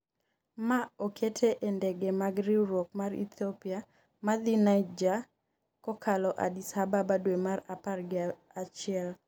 ma okete e ndege mag riwruok mar Ethiopia madhi Niger kokalo Addis Ababa dwe mar apar gi achiel